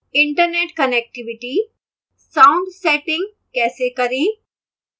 internet connectivity sound settings कैसे करें